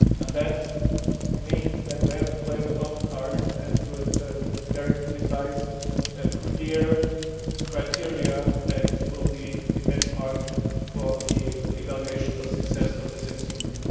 That means that we have to play with open cards and with very precise and clear criteria that will be the benchmark for the evaluation of success of this instrument.